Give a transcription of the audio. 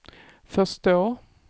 förstå